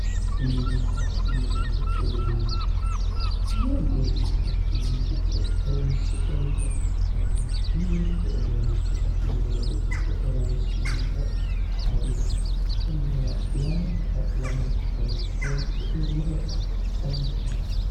Mininna biirote uduunicho, mini uduunicho mini giddo horonsi'nuummoro faayyaho, biirote uduunichono biirote giddo horonsi'nuummoro faayyaho. Konnira lamenka lamunku garinni horonsi'nuummoro danchaho.